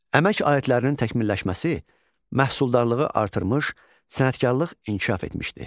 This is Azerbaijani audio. Əmək aletlərinin təkmilləşməsi məhsuldarlığı artırmış, sənətkarlıq inkişaf etmişdi.